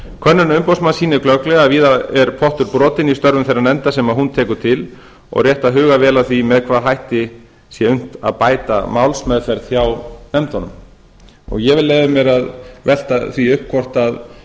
könnun umboðsmanns sýnir glögglega að víða er pottur brotinn í störfum þeirra nefnda sem hún tekur til og rétt að huga vel að því með hvaða hætti sé unnt að bæta málsmeðferð hjá nefndunum ég vil leyfa mér að velta því upp hvort